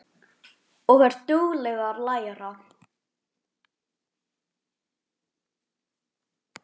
Og er dugleg að læra.